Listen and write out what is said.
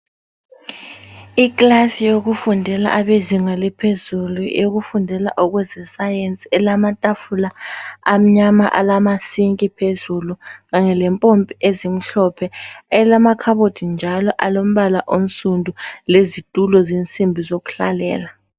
Ikilasi yokufundela abezinga laphezulu eyokufundela ezesayensi ilamatafula amnyama alamasinki phezulu kanye lempompi ezimhlophe elamakhabothi njalo alombala onsundu lezitulo zensimbi zokudlalela.